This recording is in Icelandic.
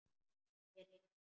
Mér hitnar.